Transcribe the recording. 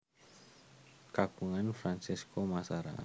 Kagungan Francesco Massara